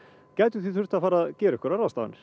gætu því þurft að fara að gera einhverjar ráðstafanir